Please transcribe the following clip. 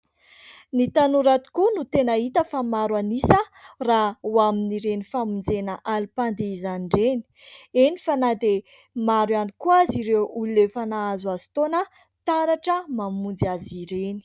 Ny tanora tokoa no tena hita fa maro an'isa raha ho amin'ireny famonjena alim-pandihizana ireny. Eny fa na dia maro ihany koa aza ireo olona efa nahazoazo taona taratra mamonjy azy ireny.